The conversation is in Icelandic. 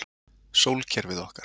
Sólkerfið okkar.